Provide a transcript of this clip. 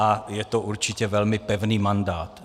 A je to určitě velmi pevný mandát.